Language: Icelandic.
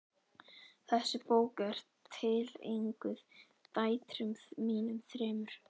Þessi bók er tileinkuð dætrum mínum þremur.